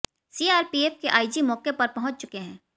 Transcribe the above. CRPF के IG मौके पर पहुंच चुके हैं